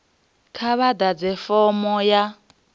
kha vha ḓadze fomo ya